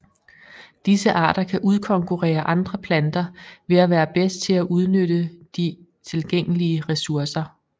Disse arter kan udkonkurere andre planter ved at være bedst til at udnytte de tilgængelige ressourcer